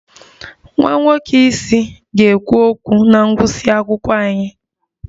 Nwa nwoke isi ga-ekwu okwu na ngụsị akwụkwọ anyị